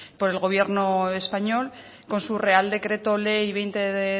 por el gobierno español con su real decreto ley veinte